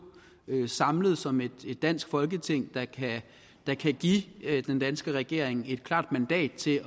samlet som et dansk folketing der kan give den danske regering et klart mandat til